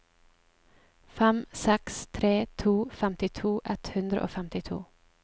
fem seks tre to femtito ett hundre og femtito